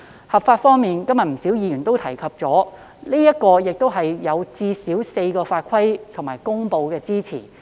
合法方面，正如今天不少議員提到，《條例草案》最少有4項法規和公布作為支持理據。